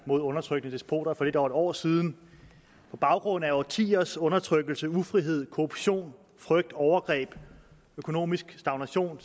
mod undertrykkende despoter for lidt over en år siden på baggrund af årtiers undertrykkelse ufrihed korruption frygt overgreb og økonomisk stagnation